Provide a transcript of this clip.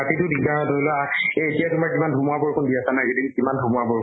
ৰাতি টো দিগ্দাৰ হয়। ধৰি লোৱা এই এতিয়া তোমাৰ কিমান ধুমুহা বৰষুন দি আছে কিমান ধুমুহা বৰষুন